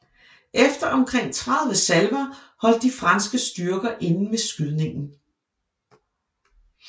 Efter omkring 30 salver holdt de franske styrker inde med skydningen